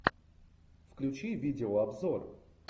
включи видеообзор